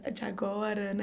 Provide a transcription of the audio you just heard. De agora né.